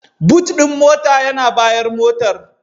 "Boot" din mota yana bayan motar.